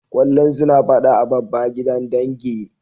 Kullum suna fada a babba gidan dangi.